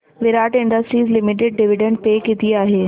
विराट Industries Limited dividend pay किती आहे